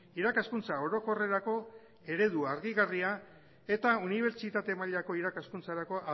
irakaskuntza orokorrerako eredu argigarria eta unibertsitate mailako irakaskuntzarako